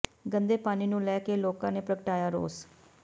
ਗੰਦੇ ਪਾਣੀ ਨੂੰ ਲੈ ਕੇ ਲੋਕਾਂ ਨੇ ਪ੍ਰਗਟਾਇਆ ਰੋਸ